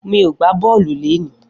Mi ó gbá bọlú léni